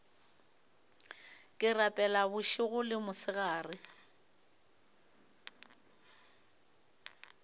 ke rapela bošego le mosegare